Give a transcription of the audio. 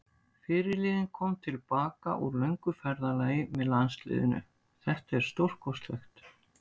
Fyrirliðinn kom til baka úr löngu ferðalagi með landsliðinu, þetta er stórkostlegt.